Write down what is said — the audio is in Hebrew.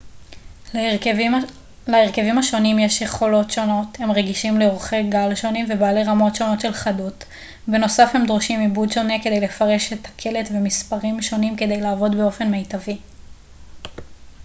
להרכבים השונים יש יכולות שונות הם רגישים לאורכי גל שונים ובעלי רמות שונות של חדות בנוסף הם דורשים עיבוד שונה כדי לפרש את הקלט ומספרים שונים כדי לעבוד באופן מיטבי